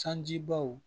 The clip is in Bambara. Sanjibaw